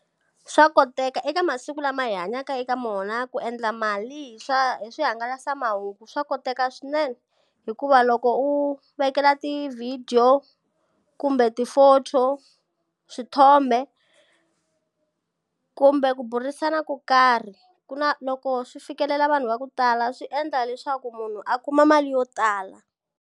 Swa koteka eka masiku lama hi hanyaka eka wona ku endla mali hi swa hi swihangalasamahungu, swa koteka swinene. Hikuva loko u vekela ti-video, kumbe ti-photo, swithombe, kumbe ku burisana ko karhi ku na loko swi fikelela vanhu va ku tala swi endla leswaku munhu a kuma mali yo tala.